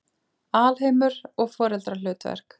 Alheimur og foreldrahlutverk